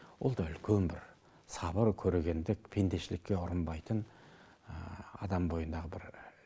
ол да үлкен бір сабыр көрегендік пендешілікке ұрынбайтын адам бойындағы бір